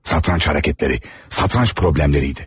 Satranç hərəkətləri, satranç problemləriydi.